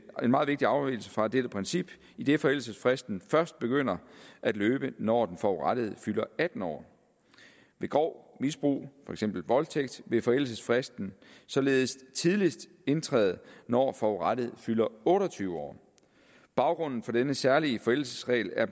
meget vigtig afvigelse fra dette princip idet forældelsesfristen først begynder at løbe når den forurettede fylder atten år ved grov misbrug for eksempel voldtægt vil forældelsesfristen således tidligst indtræde når forurettede fylder otte og tyve år baggrunden for denne særlige forældelsesregel er